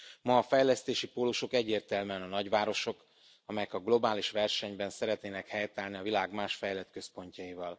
Ma a fejlesztési pólusok egyértelműen a nagyvárosok, amelyek a globális versenyben szeretnének helytállni a világ más fejlett központjaival.